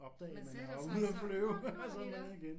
Man sætter sig og så wup var vi der